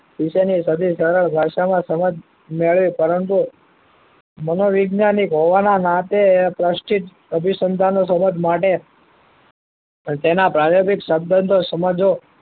વિષય ની સાદી સરળ ભાષા માં સમજ મેળવી પરંતુ મનોવિજ્ઞાનક હોવા ને નાતે પ્રસ્ચિત અભીસંધાનો તરફ માટે પણ તેના ભાવ્યપીક સબ્દંતો સમજો